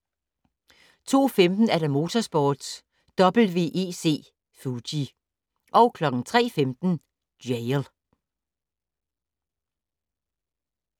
02:15: Motorsport: WEC Fuji 03:15: Jail